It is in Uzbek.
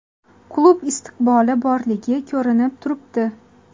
Klub istiqboli borligi ko‘rinib turibdi.